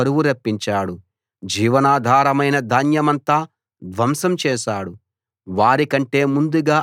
దేశం మీదికి ఆయన కరువు రప్పించాడు జీవనాధారమైన ధాన్యమంతా ధ్వంసం చేశాడు